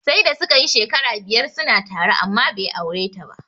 Sai da suka yi shekara biyar suna tare amma bai aure ta ba.